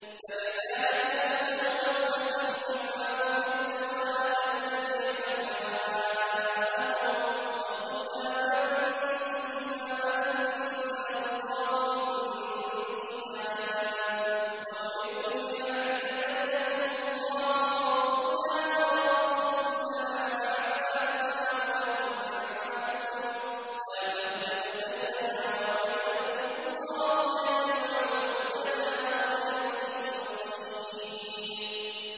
فَلِذَٰلِكَ فَادْعُ ۖ وَاسْتَقِمْ كَمَا أُمِرْتَ ۖ وَلَا تَتَّبِعْ أَهْوَاءَهُمْ ۖ وَقُلْ آمَنتُ بِمَا أَنزَلَ اللَّهُ مِن كِتَابٍ ۖ وَأُمِرْتُ لِأَعْدِلَ بَيْنَكُمُ ۖ اللَّهُ رَبُّنَا وَرَبُّكُمْ ۖ لَنَا أَعْمَالُنَا وَلَكُمْ أَعْمَالُكُمْ ۖ لَا حُجَّةَ بَيْنَنَا وَبَيْنَكُمُ ۖ اللَّهُ يَجْمَعُ بَيْنَنَا ۖ وَإِلَيْهِ الْمَصِيرُ